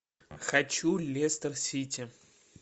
хочу лестер сити